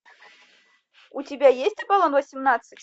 у тебя есть аполлон восемнадцать